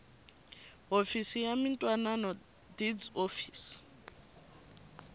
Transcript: hofisi ya mintwanano deeds office